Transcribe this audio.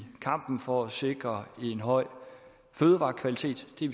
kampen for at sikre en høj fødevarekvalitet det er